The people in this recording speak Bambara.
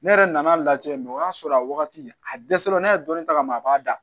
Ne yɛrɛ nan'a lajɛ o y'a sɔrɔ a wagati a dɛsɛra n'a ye dɔni ta ka mɛn a b'a da